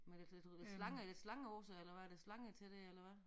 Men lidt lidt slange slange på sig eller hvad er det slange til det eller hvad